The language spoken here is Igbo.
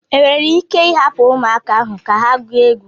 Enwere ike ịhapụ ụmụaka ahụ ka ha gụọ egwu.